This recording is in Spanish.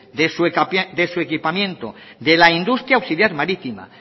de su equipamiento de la industria auxiliar marítima